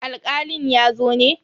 Alkalin ya zo ne?